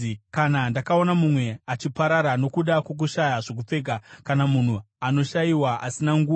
kana ndakaona mumwe achiparara nokuda kwokushaya zvokupfeka, kana munhu anoshayiwa asina nguo,